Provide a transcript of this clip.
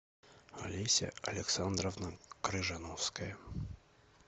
олеся александровна крыжановская